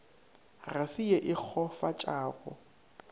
ga se ye e kgofatšago